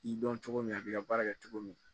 I dɔn cogo min a b'i ka baara kɛ cogo min